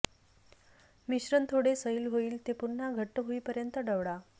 मिश्रण थोडे सैल होईल ते पुन्हा घट्ट होईपर्यंत ढवळा